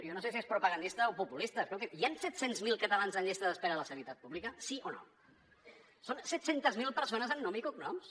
jo no sé si és propagandista o populista escolti’m hi han set cents miler catalans en llista d’espera a la sanitat pública sí o no són set cents miler persones amb nom i cognoms